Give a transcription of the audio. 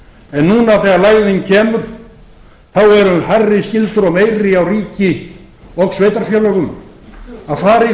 en núna þegar lægðin kemur eru hærri skyldur og meiri á ríki og sveitarfélögum að fara í